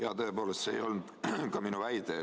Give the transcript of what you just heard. Jah, tõepoolest, see ei olnud ka minu väide.